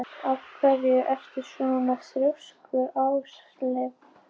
Af hverju ertu svona þrjóskur, Ásleif?